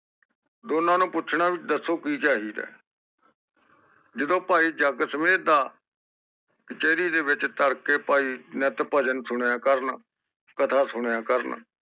ਦੋਨਾਂ ਨੂੰ ਪੁੱਛਣਾ ਵੀ ਕਿ ਚਾਹੀਦਾ ਜਦੋ ਭਾਈ ਜੱਗ ਸਮੇਤ ਦਾ ਕਚਰੀ ਵਿਚ ਤਾਰੜਕੇ ਭਾਈ ਨਿਤ ਭਜਨ ਸੁਣਿਆ ਕਰਨ ਕਥਾ ਸੁਣਿਆ ਕਰਣ